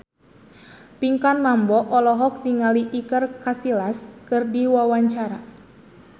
Pinkan Mambo olohok ningali Iker Casillas keur diwawancara